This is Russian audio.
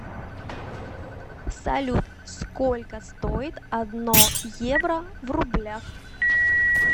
салют сколько стоит одно евро в рублях